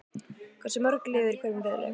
Hversu mörg lið eru í hverjum riðli?